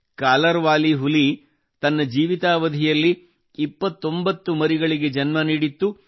collar ಹುಲಿ ತನ್ನ ಜೀವಿತಾವಧಿಯಲ್ಲಿ 29 ಮರಿಗಳಿಗೆ ಜನ್ಮ ನೀಡಿತ್ತು